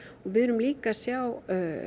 við erum líka að sjá